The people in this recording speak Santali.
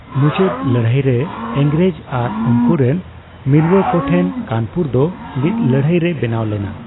ᱢᱩᱪᱟᱹᱫ ᱞᱟᱹᱲᱦᱟᱹᱭ ᱨᱮ ᱤᱝᱨᱮᱡ ᱟᱨ ᱩᱱᱠᱳ ᱨᱮᱱ ᱢᱤᱞᱭᱳ ᱠᱚ ᱴᱷᱮᱱ ᱠᱟᱱᱯᱩᱨ ᱫᱚ ᱢᱤᱫ ᱞᱟᱹᱲᱦᱟᱹᱭ ᱨᱮ ᱵᱮᱱᱟᱣ ᱞᱮᱱᱟ ᱾